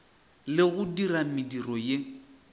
le go dira mediro ye